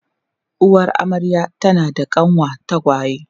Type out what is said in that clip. Uwar amarya tana da kanwa tagwaye.